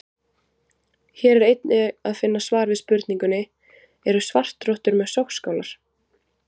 Hér er einnig að finna svar við spurningunni: Eru svartrottur með sogskálar?